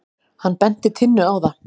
Hann benti Tinnu á það.